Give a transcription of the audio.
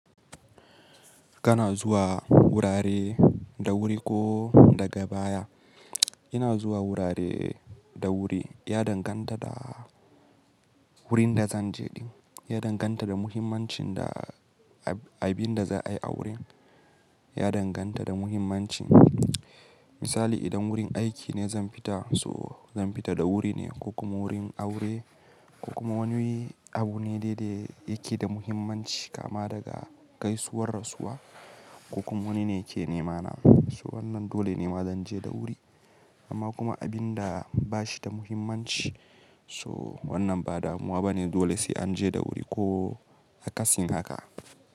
Kana zuwa wurare da wuri ko daga baya. Ina zuwa wurare da wuri, ya danganta da wurin da zan je. Ya danganta da muhimmancin da abin da za a yi a wurin. Ya danganta da muhimmancin. Misali idan wurin aiki ne zan fita so zan fita da wuri ne, ko kuma wurin aure ko kuma wani abu ne da yake da muhimmanci kama daga gaisuwar rasuwa ko kuma wani ne ke nema na. So wannan dole nema zan je da wuri. Amma kuma abin da ba shi da muhimmanci so wannan ba damuwa ba ne dole sai an je da wuri ko a kasin haka.